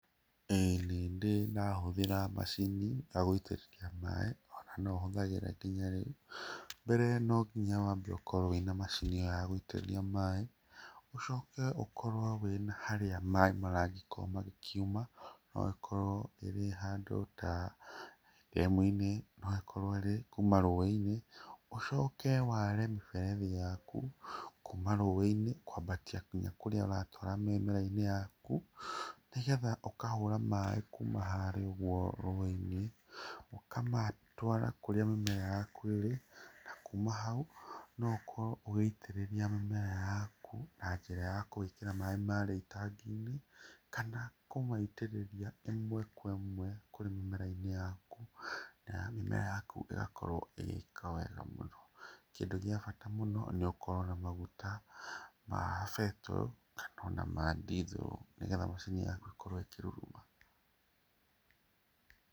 Ĩĩ nĩndĩ ndahũthĩra macini cia gũitĩrĩria maĩ ona nohũthagĩra nginya rĩu. Mbere no nginya wambe ũkorwo wĩna macini ĩyo yagũitĩrĩria maĩ, ũcoke ũkorwo wĩna harĩa maĩ maragĩkorwo magĩkiuma ũgagĩkorwo ĩrĩ handũ ta ndemu-inĩ no ĩkorwo ĩrĩ kuma rũĩ-inĩ, ũcoke ware mĩberethi yaku kuma rũĩ-inĩ kwambatia nginya kũrĩa ũratwara mĩmera-inĩ yaku, nĩgetha ũkahũra maĩ kuma harĩa ũguo rũĩ-inĩ ũkamatwara kũrĩa mĩmera yaku ĩrĩ na kuma hau no ũkorwo ũgĩitĩrĩria mĩmera yaku na njĩra ya kũwĩkĩra maĩ marĩa ĩtangi-inĩ kana kũmaitĩrĩria imwe kwa imwe kũrĩ mĩmera-inĩ yaku, na mĩmera yaku ĩgakorwo ĩgĩka wega mũno. Kĩndũ gĩa bata mũno nĩ ũkorwo na maguta ma betũrũ kana ona ma ndithũrũ nĩgetha macini yaku ĩkorwo ĩkĩruruma.